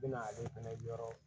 Bɛna ale fɛnɛ yɔrɔ